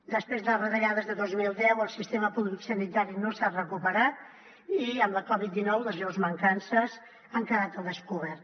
després de les retallades de dos mil deu el sistema públic sanitari no s’ha recuperat i amb la coviddinou les greus mancances han quedat al descobert